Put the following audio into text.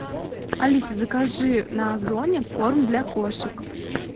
алиса закажи на озоне корм для кошек